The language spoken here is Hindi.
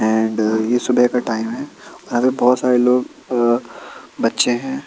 अँड अ ये सुबह का टाइम हैं यहाँ बहुत सारे लोग अ बच्चे हैं।